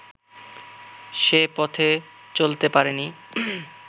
সে পথে চলতে পারে নি